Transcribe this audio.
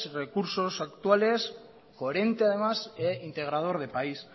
recursos actuales coherente además e integrador de país